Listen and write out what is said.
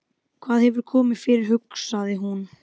Hvað hefur komið fyrir, hugsaði hún.